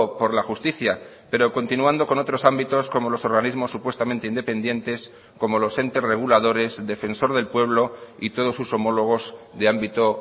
por la justicia pero continuando con otros ámbitos como los organismos supuestamente independientes como los entes reguladores defensor del pueblo y todos sus homólogos de ámbito